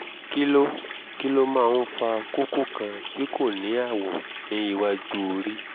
kí ló kí ló máa ń fa kókó kan tí kò ní àwọ̀ ní iwájú orí?